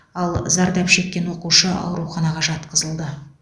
ал зардап шеккен оқушы ауруханаға жатқызылды